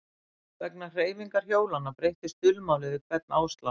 Vegna hreyfingar hjólanna breyttist dulmálið við hvern áslátt.